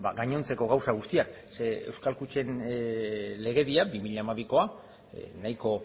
gainontzeko gauza guztiak zeren eta euskal kutxen legedia bi mila hamabikoa nahiko